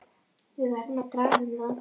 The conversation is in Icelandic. Við verðum að draga um það.